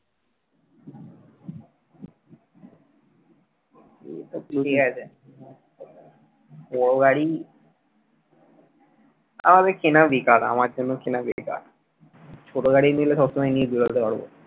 বড় গাড়ি আমাদের কেনা বেকার আমার জন্য কেনা বেকার ছোটো গাড়ি নিলে সব সময় নিয়ে বেরতে পারবো